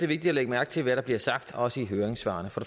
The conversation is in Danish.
vigtigt at lægge mærke til hvad der bliver sagt også i høringssvarene for